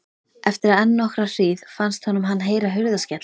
Eftir enn nokkra hríð fannst honum hann heyra hurðarskell.